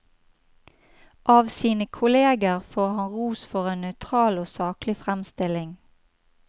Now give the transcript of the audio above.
Av sine kolleger får han ros for en nøytral og saklig fremstilling.